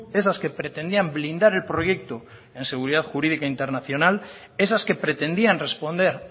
esas que pretendían blindar el proyecto en seguridad jurídica internacional esas que pretendían responder